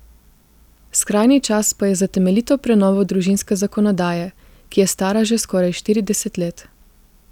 Skrajni čas pa je za temeljito prenovo družinske zakonodaje, ki je stara že skoraj štirideset let.